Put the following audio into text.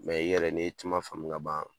i yɛrɛ ni tuma faamu ka ban